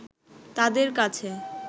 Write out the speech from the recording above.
তাদের কাছে